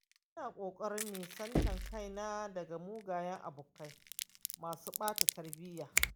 Ina ƙoƙarin nesanta kaina daga mugayen abokai masu bata tarbiyya.